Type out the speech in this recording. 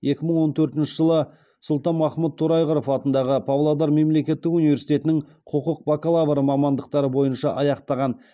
екі мың он төртінші жылы сұлтанмахмұт торайғыров атындағы павлодар мемлекеттік университетінің құқық бакалавры мамандықтары бойынша аяқтаған